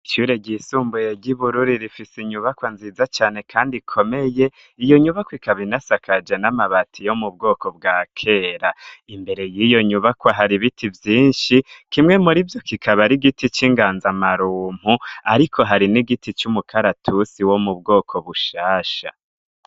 Ishure ryisumbuye ry'i Bururi rifise inyubakwa nziza cane kandi ikomeye, iyo nyubakwa ikaba inasakaje n'amabati yo mubwoko bwa kera, imbere y'iyo nyubakwa hari ibiti vyinshi, kimwe muri vyo kikaba ari igiti c'inganza marumpu ariko hari n'igiti c'umukaratusi wo mu bwoko bushasha.